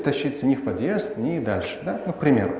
тащится ни в подъезд ни дальше как по примеру